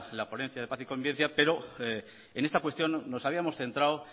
la ponencia de paz y convivencia pero en esta cuestión nos habíamos centrado